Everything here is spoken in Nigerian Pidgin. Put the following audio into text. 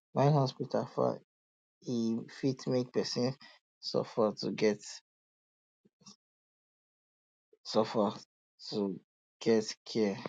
when hospital far e fit make person suffer to get suffer to get care